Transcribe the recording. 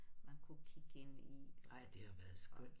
Man kunne kigge ind i og